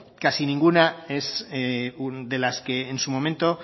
casi ninguna es de las que en su momento